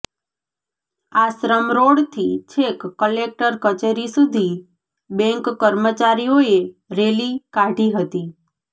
આશ્રમ રોડથી છેક કલેક્ટર કચેરી સુધી બૅન્ક કર્મચારીઓએ રેલી કાઢી હતી